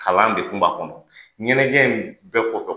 Kalan de kun b'a kɔnɔ. ɲɛnajɛ in bɛ kɔ